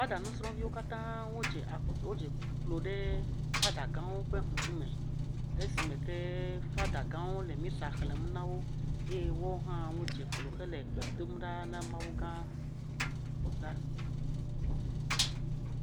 Fada nusrɔviwo katã wodze klo ɖe fada gãwo ƒe ŋkume esime ke fada gãwo le misa xlẽm na wo eye woawo hã wodze klo hele gbe dom na Mawu gã la.